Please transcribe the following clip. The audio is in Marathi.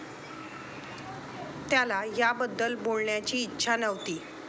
त्याला याबद्दल बोलण्याची इच्छा नव्हती.